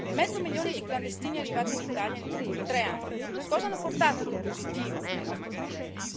Il mezzo milione di clandestini arrivati in Italia negli ultimi tre anni che cosa ha portato di positivo nel nostro paese?